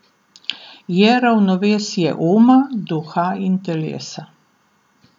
Je ravnovesje uma, duha in telesa.